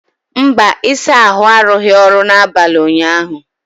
mba, ịsa ahụ arụghị ọrụ n'abalị ụnyaahụ